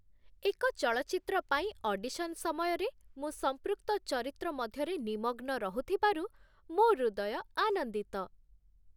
ଏକ ଚଳଚ୍ଚିତ୍ର ପାଇଁ ଅଡିସନ୍ ସମୟରେ ମୁଁ ସମ୍ପୃକ୍ତ ଚରିତ୍ର ମଧ୍ୟରେ ନିମଗ୍ନ ରହୁଥିବାରୁ ମୋ ହୃଦୟ ଆନନ୍ଦିତ